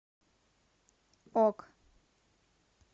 ок